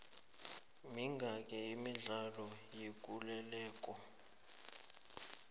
mingaki imidlalo yekuleleko